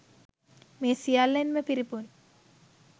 මේ සියල්ලෙන්ම පිරිපුන්